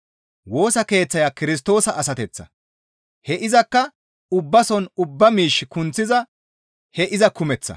Woosa Keeththiya Kirstoosa asateththa; he izakka ubbason ubba miish kunththiza he iza kumeththa.